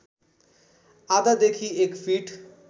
आधादेखि एक फिट